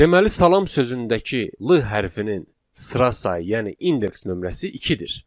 Deməli, salam sözündəki l hərfinin sıra sayı, yəni indeks nömrəsi ikidir.